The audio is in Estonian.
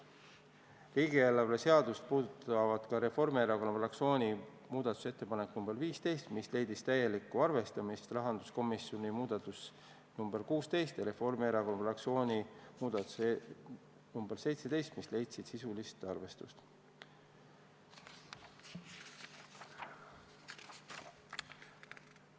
Riigieelarve seadust puudutavad ka Reformierakonna fraktsiooni muudatusettepanek nr 15, mis leidis täielikku arvestamist, rahanduskomisjoni muudatus nr 16 ja Reformierakonna fraktsiooni muudatus nr 17, mis leidsid sisulist arvestamist.